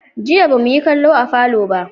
Jiya ba mu yi kallo a falo ba.